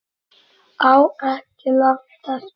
Á ekki langt eftir